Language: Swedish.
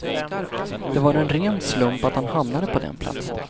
Det var en ren slump att han hamnade på den platsen.